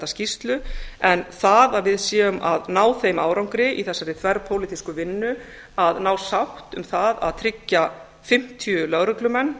skýrslu en það að við séum að ná þeim árangri í þessari þverpólitísku vinnu að ná sátt um það að tryggja fimmtíu lögreglumenn